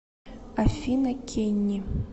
афина кенни